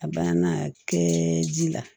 A banna a kɛ ji la